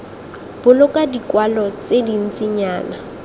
boloka dikwalo tse dintsinyana jljl